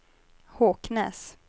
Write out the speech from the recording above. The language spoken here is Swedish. Håknäs